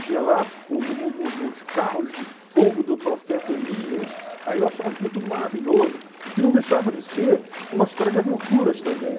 tinha lá o o o o os carros de fogo do profeta Elias, aí eu achava aquilo tudo maravilhoso, que não deixava de ser uma história de aventuras também.